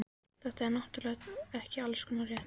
Þetta er náttúrlega ekki allskostar rétt.